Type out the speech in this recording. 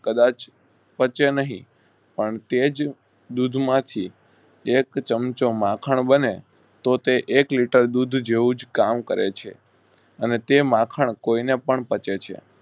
કદાચ પચે નહિ પણ તેજ દુધ માંથી એક ચમચો માખણ બને તેતે એક લીટર દૂધ જેવુંજ કામ કયારે છે અને તે માખણ કોઈને પણ પચે છે.